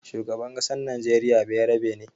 Shugaban ƙasar najeriya bayarabe ne.